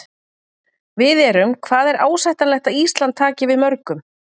Við erum, hvað er ásættanlegt að Ísland taki við mörgum?